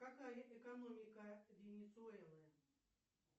какая экономика венесуэлы